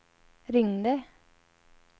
ringde